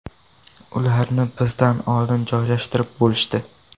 Ularni bizdan oldin joylashtirib bo‘lishdi.